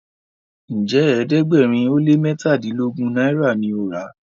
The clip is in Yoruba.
Njé ẹ̀ẹ́dẹ̀gbẹ̀rin o lẹ mẹtadilogun náírà ní o rà?